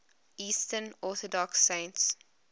eastern orthodox saints